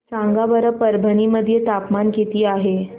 सांगा बरं परभणी मध्ये तापमान किती आहे